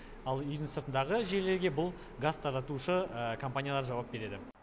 ал үйдің сыртындағы желілерге бұл газ таратушы компаниялар жауап береді